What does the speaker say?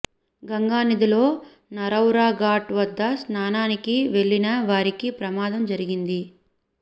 గంగానదిలో నరౌరా ఘాట్ వద్ద స్నానానికి వెళ్లిన వారికి ప్రమాదం జరిగింది